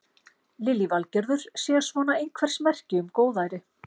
Lillý Valgerður: Sé svona einhvers merki um góðæri?